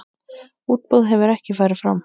Útboð hefur ekki farið fram.